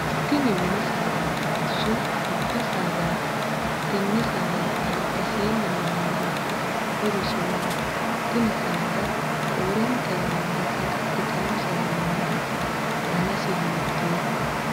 Tinni minni saadaatinso goba sadaati? Tenne saadara albaseenni noohu maati? Horosi maati? Tinni saada roorenta yannara saga'litano sagale maati? Dannasi hiitooho?